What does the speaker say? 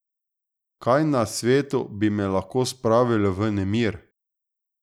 Kaj na svetu bi me lahko spravilo v nemir?